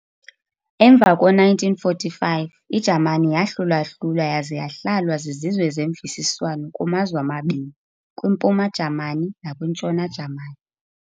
Emva ko-1945, iJamani yahlulwa-hlulwa yaza yahlalwa zizizwe zeMvisiswano kumazwe amabini, Kwimpuma-Jamani nakwiNtshona-Jamani.